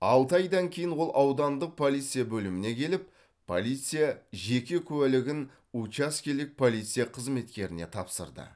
алты айдан кейін ол аудандық полиция бөліміне келіп полиция жеке куәлігін учаскелік полиция қызметкеріне тапсырды